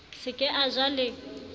se ke a ja le